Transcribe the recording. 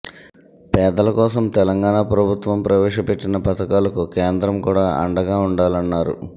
పేదల కోసం తెలంగాణ ప్రభుత్వం ప్రవేశపెట్టిన పథకాలకు కేంద్రం అండగా ఉండాలన్నారు